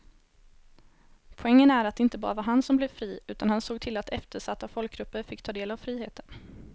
Poängen är att det inte bara var han som blev fri utan han såg till att eftersatta folkgrupper fick ta del av friheten.